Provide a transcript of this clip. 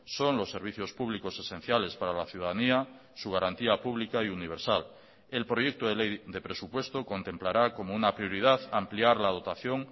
son los servicios públicos esenciales para la ciudadanía su garantía pública y universal el proyecto de ley de presupuesto contemplará como una prioridad ampliar la dotación